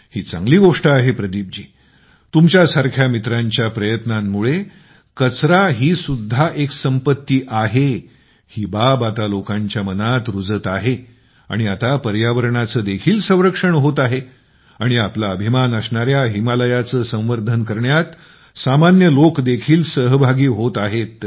ही चांगली गोष्ट आहे तुमच्या सारख्या मित्रांच्या प्रयत्नामुळे कचरा ही सुद्धा एक संपत्ती आहे ही बाब आता लोकांच्या मनात रुजत आहे आणि आता पर्यावरणाचे देखील संरक्षण होत आहे आणि आपला अभिमान असणाऱ्या हिमालयाचे संवर्धन करण्यात सामान्य लोकं देखील सहभागी होत आहेत